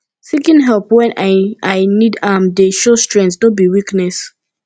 seeking help wen i i need am dey show strength no be weakness